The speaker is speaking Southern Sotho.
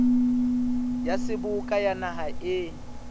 ya seboka ya naha e